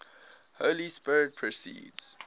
holy spirit proceeds